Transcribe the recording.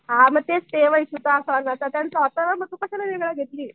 हां तेच ते त्यांचा मग तू कशाला वेगळं घेतली?